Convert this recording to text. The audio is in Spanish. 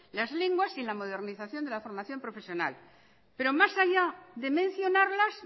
las lenguas y la modernización de la formación profesional pero más allá de mencionarlas